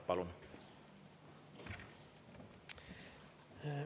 Palun!